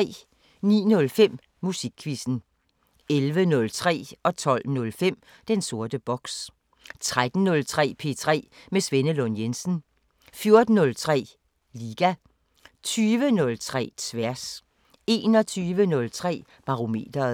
09:05: Musikquizzen 11:03: Den sorte boks 12:05: Den sorte boks 13:03: P3 med Svenne Lund Jensen 14:03: Liga 20:03: Tværs 21:03: Barometeret